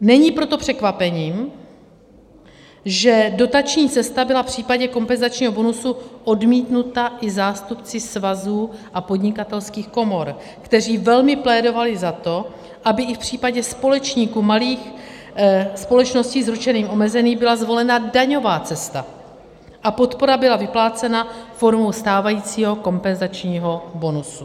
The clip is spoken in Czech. Není proto překvapením, že dotační cesta byla v případě kompenzačního bonusu odmítnuta i zástupci svazů a podnikatelských komor, kteří velmi plédovali za to, aby i v případě společníků malých společností s ručením omezeným byla zvolena daňová cesta a podpora byla vyplácena formou stávajícího kompenzačního bonusu.